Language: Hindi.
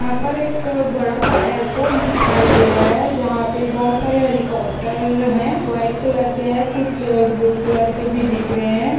यहाँ पर एक बड़ा सा एयरपोर्ट दिखाई दे रहा है जहाँ पे बहोत सारे हेलीकॉप्टर हैं वाइट कलर के हैं कुछ ब्लू कलर के भी दिख रहे हैं।